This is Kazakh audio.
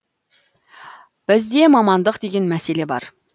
бізде мамандық деген мәселе бар